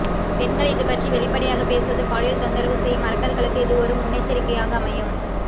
பெண்கள் இது பற்றி வெளிப்படையாக பேசுவது பாலியல் தொந்தரவு செய்யும் அரக்கர்களுக்கு இது ஒரு முன்னெச்சரிக்கையாக அமையும்